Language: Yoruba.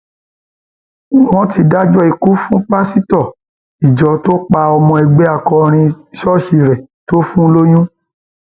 wọn ti dájọ ikú fún pásítọ ìjọ tó pa ọmọ ẹgbẹ akọrin ṣọọṣì rẹ tó fún lóyún